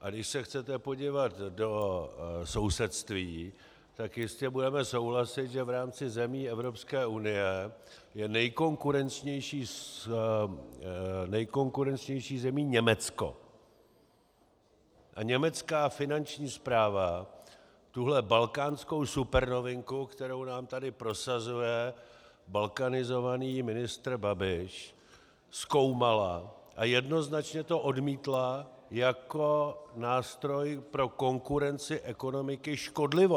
A když se chcete podívat do sousedství, tak jistě budete souhlasit, že v rámci zemí Evropské unie je nejkonkurenčnější zemí Německo a německá finanční správa tuhle balkánskou supernovinku, kterou nám tady prosazuje balkanizovaný ministr Babiš, zkoumala a jednoznačně to odmítla jako nástroj pro konkurenci ekonomiky škodlivý.